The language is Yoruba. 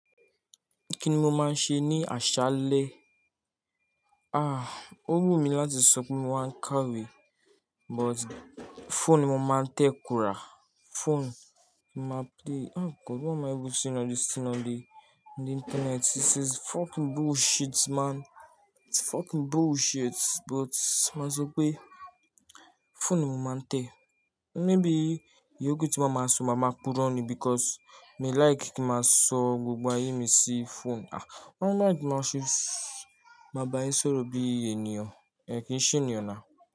Kí ni mo máa ń ṣe ní àṣálẹ́? Ah, ó wù mí láti sọ pé mo máa ń kàwé, but phone ni mo máa ń tẹ kùrá. Phone ni máa play, oh God what am i even seeing on this thing on the, on the internet? This is fucking bullshit man. It's fucking bullshit. But máa sọ pé phone ni mo máa ń tẹ. Maybe ìyókù tí mo máa sọ, màá máa púrò ní because mi like kí má sọ gbogbo ayé mi sí phone. Ah, i don't like máa ṣe, máa bá yín sọ̀rọ̀ bí í ènìyàn. Ẹ̀ kí n ṣe ènìyàn now.